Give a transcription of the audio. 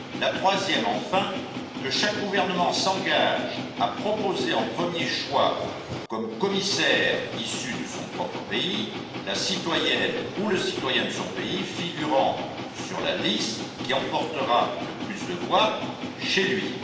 La troisième, enfin, que chaque gouvernement s'engage à proposer en premier choix comme commissaire issu de son propre pays la citoyenne ou le citoyen figurant sur la liste qui emportera le plus de voix chez lui.